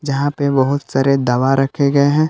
जहां पे बहुत सारे दवा रखे गए हैं।